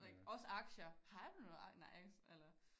Like også aktier har du nogen nice eller